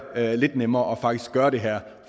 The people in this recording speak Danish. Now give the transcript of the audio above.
lidt nemmere og faktisk gøre det her